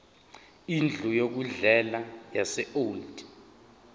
indlu yokudlela yaseold